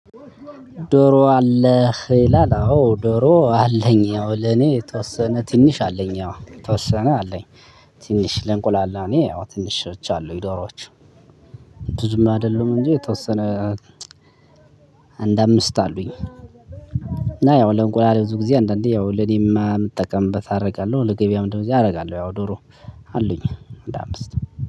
ዶሮ አለህ ይላል? አዎ ዶሮ አለኝ ያው ለኔ የተወሰነ ትንሽ አለኝ ያው የተወሰነ አለኝ። ትንሽ ለእንቁላል እኔ ያው ትንሾች አሉኝ ዶሮዎች ብዙም አይደሉም እንጂ የተወሰነ። አንድ አምስት አሉኝ እና ያው ለእንቁላል ብዙ ጊዜ አንዳንዴ ያው ለእኔማ የምጠቀምበት አደርጋለሁ ለገበያው እንደው እዚህ አደርጋለሁ። ያው ዶሮ አሉኝ አንድ አምስት